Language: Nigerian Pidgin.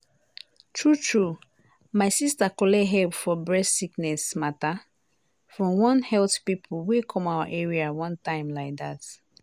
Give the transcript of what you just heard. true true my sister collect help for breast sickness matter from one health pipo wey come our area one time like that.